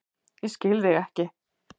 Ég skil þig ekki